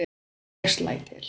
En ég slæ til.